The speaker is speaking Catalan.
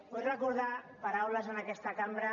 vull recordar paraules en aquesta cambra